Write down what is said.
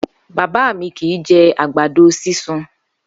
Bàbá mi kì í je̩ àgbàdo sísun